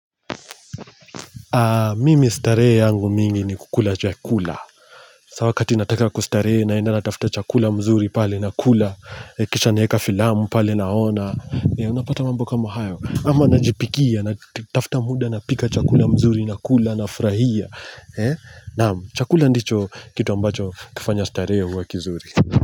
Mimi starehe yangu mingi ni kukula chakula sasa wakati nataka kustarea naenda natafuta chakula mzuri pale nakula Kisha naweka filamu pale naona Unapata mambo kama hayo ama najipikia natafuta muda napika chakula mzuri nakula nafurahia naam, chakula ndicho kitu ambacho kinafanya starehe iwe kizuri.